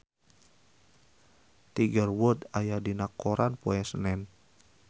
Tiger Wood aya dina koran poe Senen